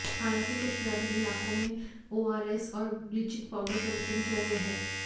हालांकि कुछ ग्रामीण इलाकों में ओरआरएस और ब्लिचिंग पाउडर का वितरण किया गया है